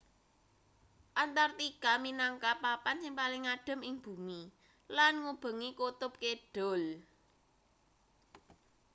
antartika minangka papan sing paling adhem ing bumi lan ngubengi kutub kidul